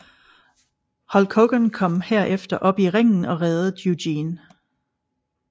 Hulk Hogan kom herefter op i ringen og reddede Eugene